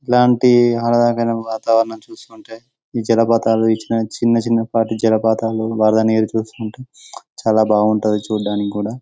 ఇలాంటి ఆహ్లాదకరమైన వాతావరణం చూసి ఉంటే ఈ జలపాతాలు చిన్నచిన్న పాటి జలపాతాలు వరద నీరు చూసుకుంటే బాగుంటుంది చాలా చూడటానికి గూడ